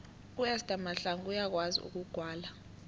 uester mahlangu uyakwazi ukugwala